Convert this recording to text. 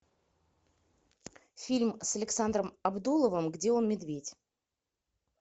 фильм с александром абдуловым где он медведь